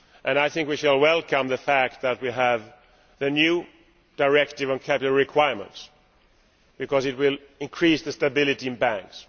I think we should welcome the fact that we have the new directive on capital requirements, because it will increase the stability of banks.